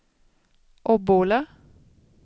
Obbola